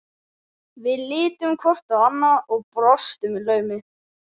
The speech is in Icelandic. Við litum hvort á annað og brostum í laumi.